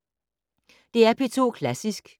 DR P2 Klassisk